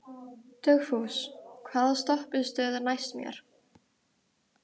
Dugfús, hvaða stoppistöð er næst mér?